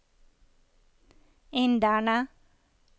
inderne